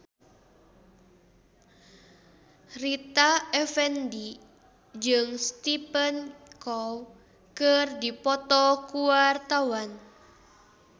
Rita Effendy jeung Stephen Chow keur dipoto ku wartawan